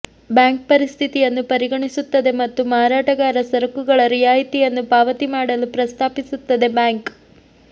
bank ಪರಿಸ್ಥಿತಿಯನ್ನು ಪರಿಗಣಿಸುತ್ತದೆ ಮತ್ತು ಮಾರಾಟಗಾರ ಸರಕುಗಳ ರಿಯಾಯಿತಿಯನ್ನು ಪಾವತಿ ಮಾಡಲು ಪ್ರಸ್ತಾಪಿಸುತ್ತದೆ ಬ್ಯಾಂಕ್